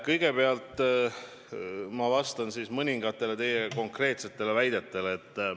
Kõigepealt ma vastan mõningatele konkreetsetele väidetele.